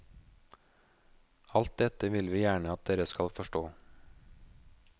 Alt dette vil vi gjerne at dere skal forstå.